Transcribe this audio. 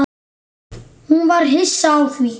Hún var hissa á því.